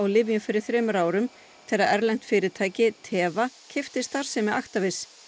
lyfjum fyrir þremur árum þegar fyrirtæki keypti starfsemi Actavis